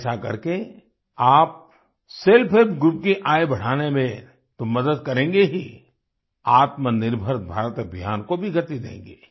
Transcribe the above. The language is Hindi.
ऐसा करके आप सेल्फ हेल्प ग्रुप की आय बढ़ाने में तो मदद करेंगे ही आत्मनिर्भर भारत अभियान को भी गति देंगे